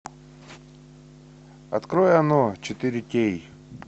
открой оно четыре кей